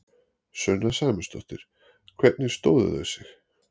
Sunna Sæmundsdóttir: Hvernig stóðu þau sig?